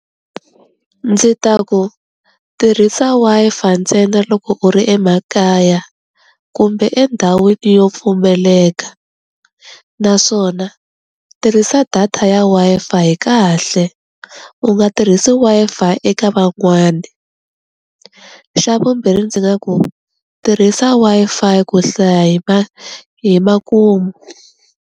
Ndzi ta ku tirhisa Wi-Fi ntsena loko u ri emakaya kumbe endhawini yo pfumeleka naswona tirhisa data ya Wi-Fi kahle u nga tirhisi Wi-Fi eka van'wani, xa vumbirhi ndzi nga ku tirhisa Wi-Fi ku hlaya hi ma hi makumu.